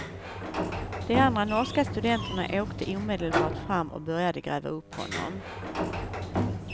De andra norska studenterna åkte omedelbart fram och började gräva upp honom.